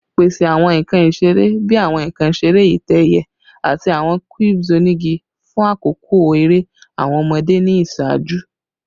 Pese awọn nkan isere bii awọn nkan isere itẹ-ẹiyẹ ati awọn cubes onigi fun akoko ere awọn ọmọde ni iṣaaju